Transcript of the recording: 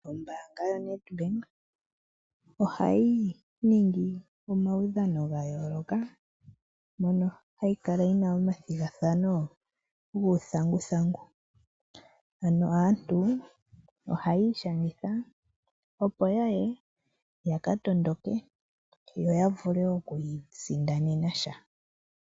Ombaanga yoNedbank ohayi ningi omaudhano ga yooloka moka hayi kala yi na omathigathano guuthanguthangu. Aantu ohaya ishangitha opo ya ye ya ka tondoke yo ya vule okuisindanena sha.